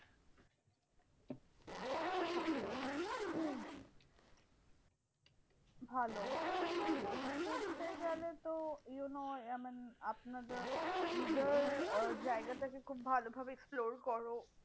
আচ্ছা ভালো এইভাবে ঘুরতে গেলে তো you know I mean আপনাদের either আহ জায়গাটাকে খুব ভালো ভাবে explore করো।